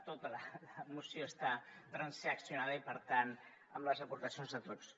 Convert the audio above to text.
tota la moció està transaccionada i per tant amb les aportacions de tots